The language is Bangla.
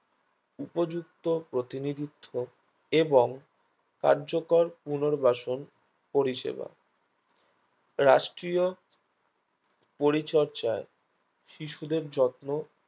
উপযুক্ত প্রতিনিধিত্ব এবং কার্যকর পুনর্বাসন পরিষেবা রাষ্ট্রীয় পরিচর্যায় শিশুদের যত্ন